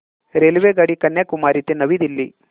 रेल्वेगाडी कन्याकुमारी ते नवी दिल्ली